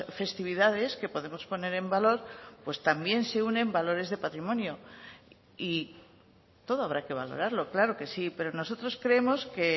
festividades que podemos poner en valor pues también se unen valores de patrimonio y todo habrá que valorarlo claro que sí pero nosotros creemos que